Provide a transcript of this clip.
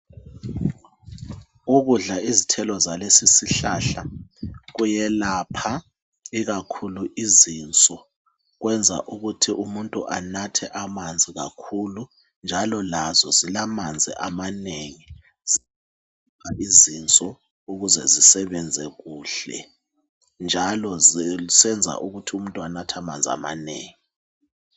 Ukudla izithelo zalesisihlahla kuyelapha ikakhulu izinso kwenza ukuthi umuntu anathe amanzi kakhulu njalo lazo zilamanzi amanengi izinso ukuze zisebenze kuhle njalo zisenza ukuthi umuntu anathe amanzi amanengi.